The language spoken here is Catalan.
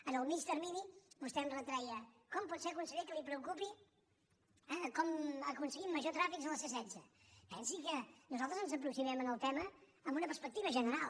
en el mitjà termini vostè em retreia com pot ser conseller que el preocupi com aconseguim major trànsit a la c setze pensi que nosaltres ens aproximem al tema amb una perspectiva general